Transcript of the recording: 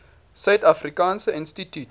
suid afrikaanse instituut